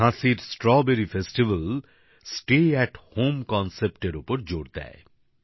ঝাঁসির স্ট্রবেরী উৎসব বাড়ি থেকে কাজ করার ওপর জোর দেয়